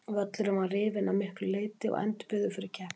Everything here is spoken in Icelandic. Völlurinn var rifinn að miklu leiti og endurbyggður fyrir keppnina.